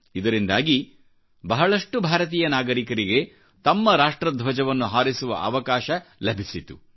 ಇದರಿಂದಾಗಿ ಬಹಳಷ್ಟು ಭಾರತೀಯ ನಾಗರಿಕರಿಗೆ ತಮ್ಮ ರಾಷ್ಟ್ರ ಧ್ವಜವನ್ನು ಹಾರಿಸುವ ಅವಕಾಶ ಲಭಿಸಿತು